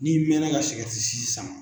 Ni'i mɛna ka sigɛrɛti sisi saman.